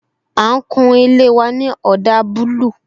A ń kun ilé wa ní ọdà búlúù